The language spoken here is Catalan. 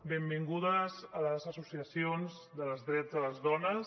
benvingudes les associacions dels drets de les dones